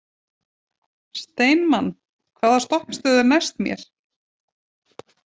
Steinmann, hvaða stoppistöð er næst mér?